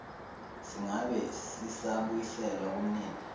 singabe sisabuyiselwa kumnini